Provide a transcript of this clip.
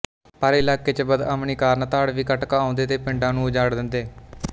ਪਰ ਇਲਾਕੇ ਚ ਬਦਅਮਨੀ ਕਾਰਨ ਧਾੜਵੀ ਕਟਕ ਆਉਂਦੇ ਤੇ ਪਿੰਡਾਂ ਨੂੰ ਉਜਾੜ ਦਿੰਦੇ